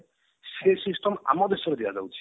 ସେ system ଆମ ଦେଶରେ ଦିଆ ଯାଉଛି